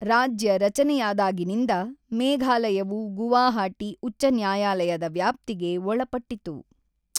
ರಾಜ್ಯ ರಚನೆಯಾದಾಗಿನಿಂದ, ಮೇಘಾಲಯವು ಗುವಾಹಟಿ ಉಚ್ಚ ನ್ಯಾಯಾಲಯದ ವ್ಯಾಪ್ತಿಗೆ ಒಳಪಟ್ಟಿತ್ತು.